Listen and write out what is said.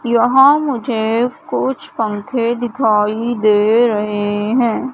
यहां मुझे कुछ पंखे दिखाई दे रहे हैं।